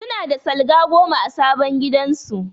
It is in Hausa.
Su na da salga goma a sabon gidan su